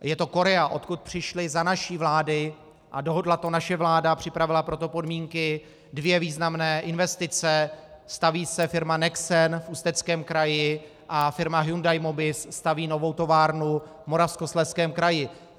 Je to Korea, odkud přišly za naší vlády - a dohodla to naše vláda a připravila pro to podmínky - dvě významné investice: staví se firma Nexen v Ústeckém kraji a firma Hyundai Mobis staví novou továrnu v Moravskoslezském kraji.